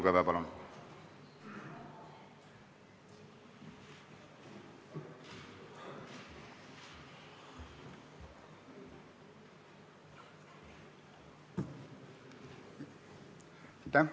Villu Kõve, palun!